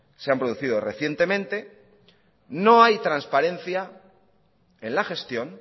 se han producido recientemente no hay transparencia en la gestión